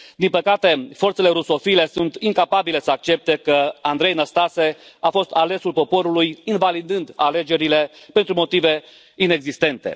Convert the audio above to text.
Din păcate, forțele rusofile sunt incapabile să accepte că Andrei Năstase a fost alesul poporului, invalidând alegerile pentru motive inexistente.